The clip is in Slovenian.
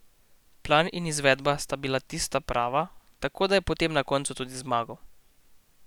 Plan in izvedba sta bila tista prava, tako da je potem na koncu tudi zmagal.